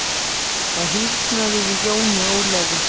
Það hýrnaði yfir Jóni Ólafi.